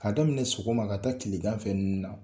K'a daminɛ sogoma ka taa kileganfɛnu na.